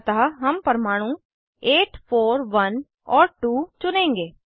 अतः हम परमाणु 8 41 और 2 चुनेंगे